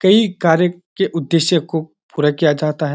कई कार्य के उद्देश्य को पूरा किया जाता है।